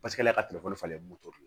Paseke ale ka falen moto de don